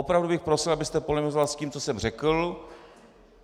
Opravdu bych prosil, abyste polemizoval s tím, co jsem řekl.